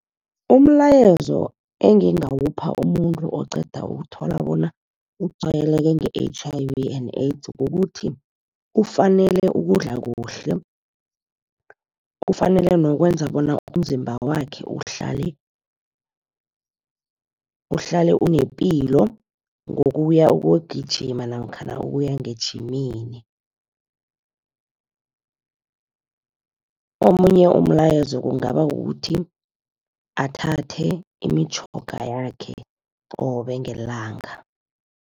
Umlayezo engingawupha umuntu oqeda ukuthola bona utshwayeleke nge-H_I_V and AIDS kukuthi, ufanele ukudla kuhle. Kufanele nokwenza bona umzimba wakhe uhlale unepilo, ngokuya ukuyokugijima namkhana ukuya ngejimini. Omunye umlayezo kungaba kukuthi, athathe imitjhoga yakhe qobe ngelanga.